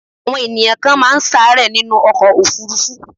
Àwọn ènìyàn kan ma n sàárẹ̀ nínú ọkọ̀ òfurufú